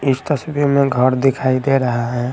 इस तस्वीर में घर दिखाई दे रहा हैं।